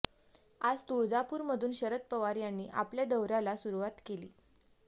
आज तुळजापूरमधून शरद पवार यांनी आपल्या दौऱ्याला सुरुवात केली